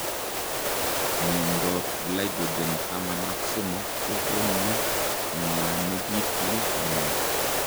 Miondoop glycogen taman ak somok kokonuu kongwanekituu panyeek